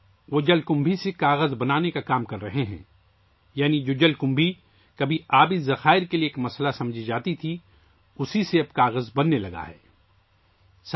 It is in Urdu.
وہ جل کمبھی سے کاغذ بنانے پر کام کر رہے ہیں، یعنی جل کمبھی جو کبھی آبی ذخائر کے لیے مسئلہ سمجھی جاتی تھی، اب کاغذ بنانے کے لیے استعمال ہو رہی ہے